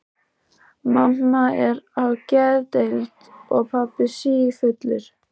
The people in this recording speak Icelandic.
Mamma er á geðdeild og pabbi sífullur.